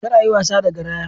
Kar a yi wasa da garaya!